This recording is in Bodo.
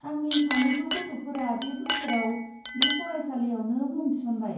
आंनि सानैबो गथ'फोरा बे बोसोराव बे फरायसालिआवनो मुं थिसनबाय।